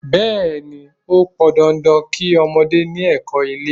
Bẹẹni, ó pọn dandan kí ọmọdé ni ẹkọ́ ilé.